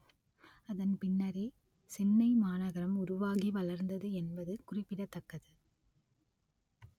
அதன் பின்னரே சென்னை மாநகரம் உருவாகி வளர்ந்தது என்பது குறிப்பிடத்தக்கது